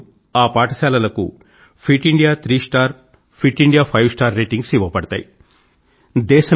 అప్పుడు ఆ పాఠశాలలకు fit India three star fit India five star ratings ఇవ్వబడతాయి